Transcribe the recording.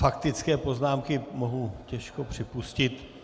Faktické poznámky mohu těžko připustit.